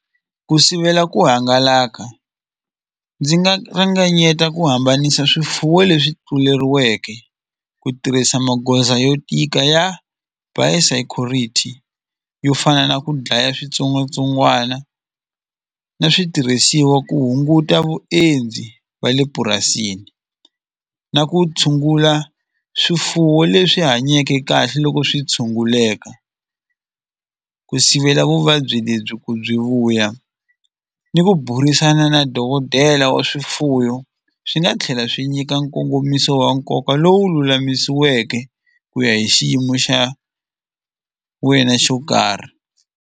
Ku sivela ku hangalaka ndzi nga ringanyeta ku hambanisa swifuwo leswi tluleriweke ku tirhisa magoza yo tika ya biosecurity yo fana na ku dlaya switsongwatsongwana na switirhisiwa ku hunguta vuendzi va le purasini na ku tshungula swifuwo leswi hanyake kahle loko swi tshunguleka ku sivela vuvabyi lebyi ku byi vuya ni ku burisana na dokodela wa swifuwo swi nga tlhela swi nyika nkongomiso wa nkoka lowu lulamisiweke ku ya hi xiyimo xa wena xo karhi.